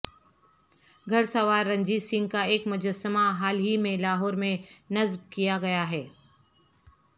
گھڑسوار رنجیت سنگھ کا ایک مجسمہ حال ہی میں لاہور میں نصب کیا گیا ہے